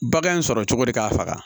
Bagan in sɔrɔ cogo di k'a faga